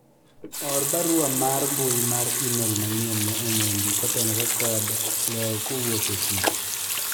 or barua mar mbui mar email manyien ne Omondi kotenore kod lewo kowuok e tich